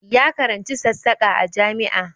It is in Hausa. Ya karanci sassaka a jami'a